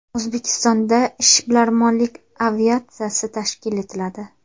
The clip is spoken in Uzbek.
O‘zbekistonda ishbilarmonlik aviatsiyasi tashkil etiladi.